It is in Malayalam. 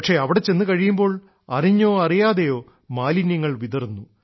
പക്ഷേ അവിടെ ചെന്നു കഴിയുമ്പോൾ അറിഞ്ഞോ അറിയാതെയോ മാലിന്യങ്ങൾ വിതറുന്നു